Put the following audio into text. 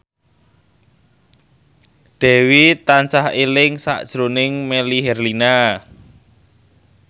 Dewi tansah eling sakjroning Melly Herlina